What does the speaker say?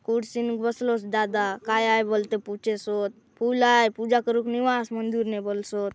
कुर्सी नु बसलोस दादा काय आय बलते पूछे सोत फूल आए पूजा करू के ने वास मंदिर ने बलसोत।